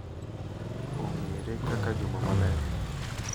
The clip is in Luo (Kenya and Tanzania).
Ong’ere kaka Juma Maler,